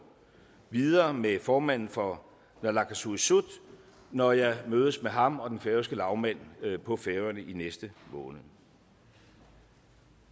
videre med formanden for naalakkersuisut når jeg mødes med ham og den færøske lagmand på færøerne i næste måned